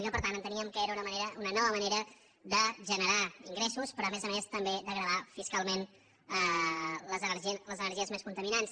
i que per tant enteníem que era una manera una nova manera de generar ingressos però a més a més també de gravar fiscalment les energies més contaminants